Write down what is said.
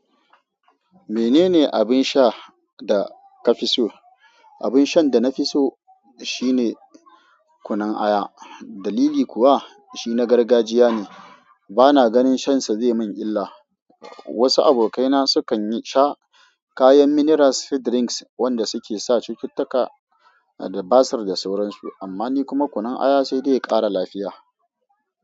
Menene abin sha da ka fi so? Abin shan da na fi so shine kunun aya. Dalili kuwa shi na gargajiya ne, bana ganin shansa ya zai min illa. Wasu abokaina su kan sha kayan mineral soft drinks wanda suke sa cututtuka da basir da sauransu. Amma ni kuma kunun aya sai dai ya kara lafiya.